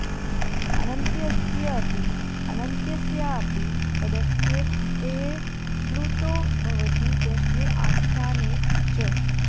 अनन्त्यस्य अपि अन्त्यस्यापि पदस्य टेः प्लुतो भवति प्रश्ने आख्याने च